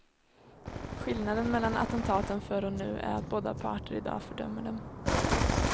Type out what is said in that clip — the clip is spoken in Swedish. Skillnaden mellan attentaten förr och nu är att båda parter i dag fördömer dem.